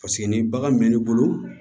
Paseke ni bagan mɛ ne bolo